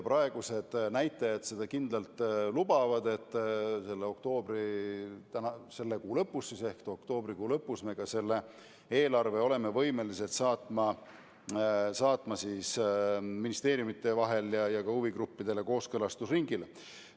Praegused näitajad seda ka kindlalt lubavad, nii et selle kuu ehk oktoobri lõpus oleme võimelised selle eelnõu saatma ministeeriumidele ja huvigruppidele kooskõlastusringile.